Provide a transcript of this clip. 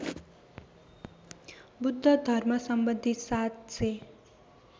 बुद्ध धर्मसम्बन्धी ७००